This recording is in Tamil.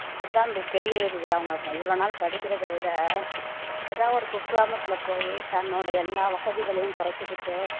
அதான் பெரிய இது அவங்க இவ்வளவு நாள் படிக்கிறதை விட ஏதாவது ஒரு குக்கிராமத்துல போயி தன்னோட எல்லா வசதிகளையும் குறைச்சுக்கிட்டு